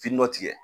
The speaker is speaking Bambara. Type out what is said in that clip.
Fin dɔ tigɛ